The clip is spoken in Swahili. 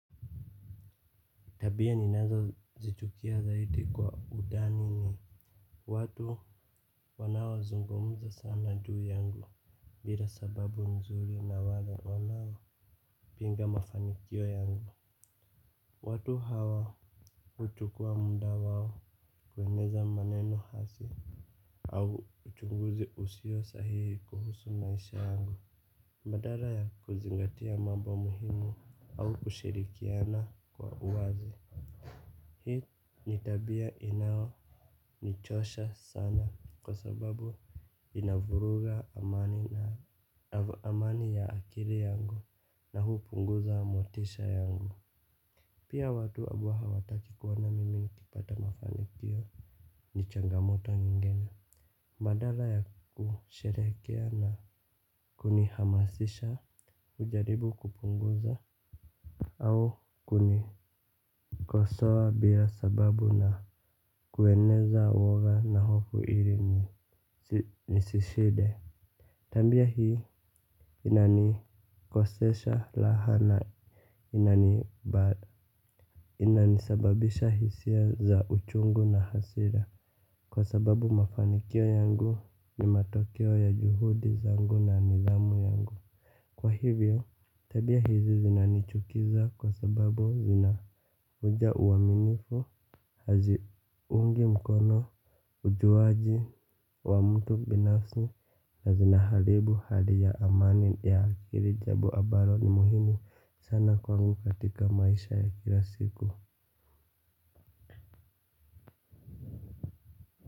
Tabia ninazozichukia zaidi kwa udani ni watu wanaozungumza sana juu yangu. Bila sababu nzuri na wale wanaoPinga mafanikio yangu watu hawa huchukua munda wao. Kueneza maneno hasi au uchunguzi usiosahihi kuhusu maisha yangu. Madara ya kuzingatia mambo muhimu au kushirikiana kwa uwazi. Hii ni tabia inayonichosha sana kwa sababu inavuruga amani ya akili yangu na huupunguza motisha yangu. Pia watu abao hawataki kuona mimi nikipata mafanikio ni changamoto nyingene. Madala ya kusherekea na kunihamasisha ujaribu kupunguza au kuni kosawa bia sababu na kueneza uwoga na hofu iri ni sishide. Tambia hii inanikosesha laha na inani bad inanisababisha hisia za uchungu na hasira. Kwa sababu mafanikio yangu ni matokeo ya juhudi zangu na nidhamu yangu. Kwa hivyo tabia hizi zinanichukiza kwa sababu zina uja uwaminifu hazi unge mkono ujuwaji wa mtu binafsi na zinahalibu hali ya amani ya akiri jabu abalo ni muhimu sana kwangu katika maisha ya kila siku.